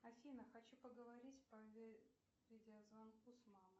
афина хочу поговорить по видеозвонку с мамой